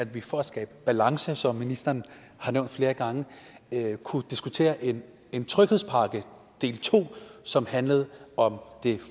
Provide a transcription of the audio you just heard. vi for at skabe balance som ministeren har nævnt flere gange kunne diskutere en en tryghedspakke del to som handlede om det